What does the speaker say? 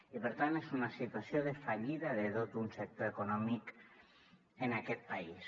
i per tant és una situació de fallida de tot un sector econòmic en aquest país